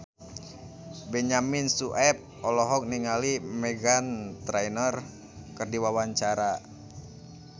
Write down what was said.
Benyamin Sueb olohok ningali Meghan Trainor keur diwawancara